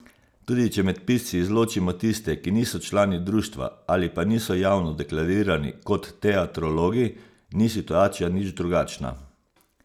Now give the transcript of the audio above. Tudi če med pisci izločimo tiste, ki niso člani društva ali pa niso javno deklarirani kot teatrologi, ni situacija nič drugačna.